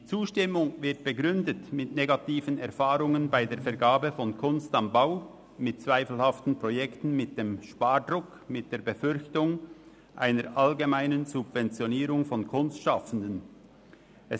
Die Zustimmung wird mit negativen Erfahrungen bei der Vergabe von «Kunst am Bau», zweifelhaften Projekten, dem Spardruck und der Befürchtung einer allgemeinen Subventionierung von Kunstschaffenden begründet.